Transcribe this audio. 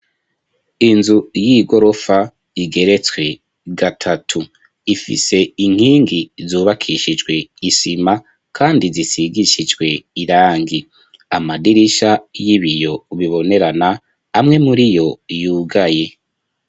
Inzu y'igorofa igeretswe gatatu ifise inkingi zubakishijwe isima kandi zisigishijwe irangi amadirisha y'ibiyo bibonerana amwe muriyo yugaye.